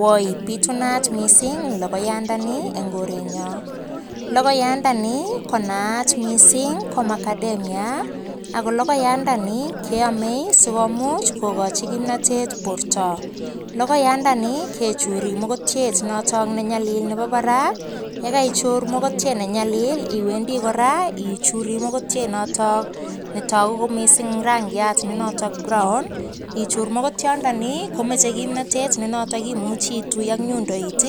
Woi pitunat mising logoyadani eng korenyo logoyandani konayat mising ko macadamia ako logoyandani keomei sikomuch kokochi kimnatet borto logoyandani kechuri mokotyet noto nenyalil nebo parak yekaichur mokotyet nenyalil iwendi kora ichuri mokotyet noto netoku komising rangiat ne notok brown ichur mokotyondoni komochei kimnotet nenoto imuchi itui ak nyundoit